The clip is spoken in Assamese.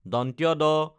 দ